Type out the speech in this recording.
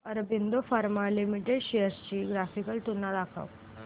Aurobindo Pharma Limited shares ची graphical तुलना दाखव